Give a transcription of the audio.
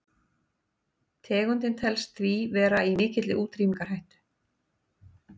tegundin telst því vera í mikilli útrýmingarhættu